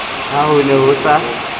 ha ho ne ho sa